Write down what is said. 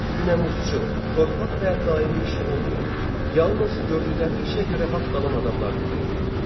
Günəmuzçu, torpaq və daimi işi olmayan, yalnız gördükləri işə görə haqq alan adamlar deməkdir.